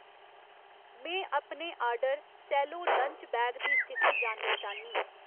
में अपने order cello lunch bag दी स्थिति जानना चाह्न्नीं